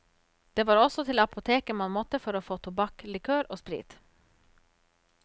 Det var også til apoteket man måtte for å få tobakk, likør og sprit.